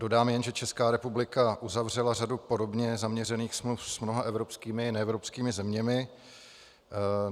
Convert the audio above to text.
Dodám jen, že Česká republika uzavřela řadu podobně zaměřených smluv s mnoha evropskými i neevropskými zeměmi.